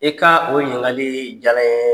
I ka o ɲiniŋakalii jala n yee.